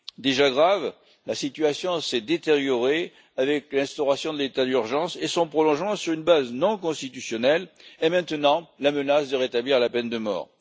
Déjà grave, la situation s'est détériorée avec l'instauration de l'état d'urgence et son prolongement sur une base non constitutionnelle et, maintenant, avec la menace de rétablir la peine de mort.